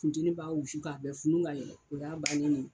Funteni b'a wusu k'a bɛɛ funun ka yɛlɛ o y'a bannen ye.